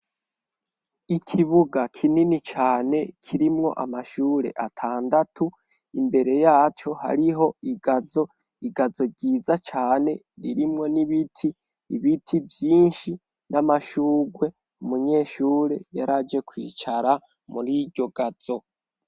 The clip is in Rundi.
Ikibuga kinini cane kirimwo amashure atandatu, imbere yaco hariho igazo, igazo ryiza cane ririmwo n'ibiti, ibiti vyinshi n'amashugwe, umunyeshure yaraje kwicara mur'iryo gazo.